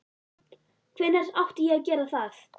Hvenær átti ég að gera það?